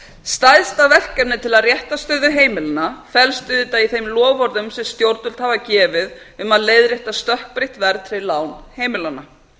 stærsta verkefnið til að rétta stöðu heimilanna felst auðvitað í þeim loforðum sem stjórnvöld hafa gefið um að leiðrétta stökkbreytt verðtryggð lán heimilanna